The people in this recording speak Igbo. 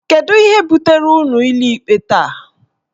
Kedu ihe butere unu n'ụlọikpe taa?